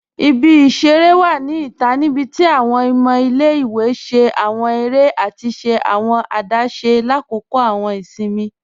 Ibi-iṣẹ̀rẹ̀ wa ni ita nibíti awọn ọmọ ilẹ̀-iwe ṣẹ̀ awọn èrè àti ṣẹ̀ awọn àdásé lákọ́kọ̀ awọn ìṣìnmi.